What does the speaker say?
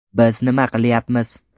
Biz nima qilyapmiz?